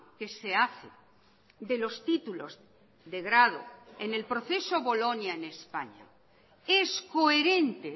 que se hace de los títulos de grado en el proceso bolonia en españa es coherente